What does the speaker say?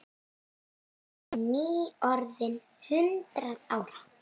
Ég er nýorðin hundrað ára.